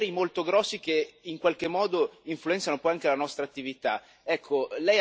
insomma poteri molto grossi che in qualche modo influenzano un po' anche la nostra attività.